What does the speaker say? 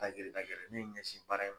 Dageredagɛrɛ ne ye n ɲɛsin baara in ma.